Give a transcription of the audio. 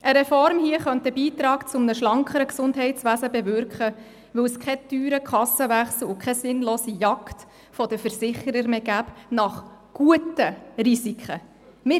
Eine Reform könnte hier einen Beitrag zu einem schlankeren Gesundheitswesen bewirken, weil es keinen teuren Kassenwechsel und keine sinnlose Jagd der Versicherer nach guten Risiken mehr gäbe.